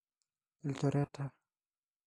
ilchoreta.